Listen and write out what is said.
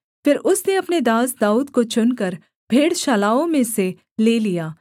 फिर उसने अपने दास दाऊद को चुनकर भेड़शालाओं में से ले लिया